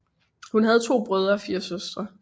Hun havde to brødre og fire søstre